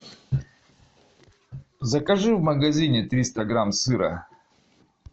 закажи в магазине триста грамм сыра